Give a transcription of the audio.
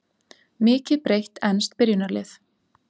Mikið breytt enskt byrjunarlið